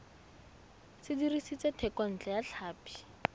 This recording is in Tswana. se dirisitswe thekontle ya tlhapi